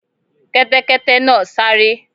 Kẹ́tẹ́kẹ́tẹ́ náà sáré.